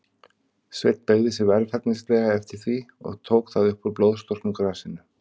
Sveinn beygði sig varfærnislega eftir því, og tók það upp úr blóðstorknu grasinu.